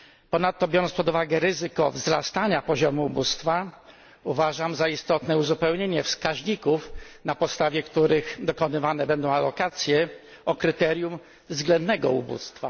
Ponadto, biorąc pod uwagę ryzyko wzrastania poziomu ubóstwa, uważam za istotne uzupełnienie wskaźników, na podstawie których dokonywane będą alokacje, o kryterium względnego ubóstwa.